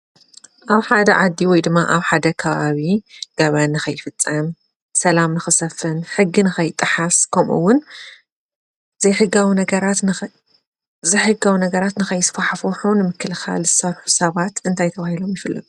ኣብ ሓደ ዓዲ ወይ ድማ ኣብ ሓደ ከባቢ ገበን ንከይፍፀም ሰላም ንከሰፍን ሕጊ ንከይጣሓስ ከምኡ እውን ዘይሕጋዊ ነገራት ንከይስፋሕፍሑ ንምክልካል ዝሰርሑ ሰባት እንታይ ተባሂሎም ይፍለጡ?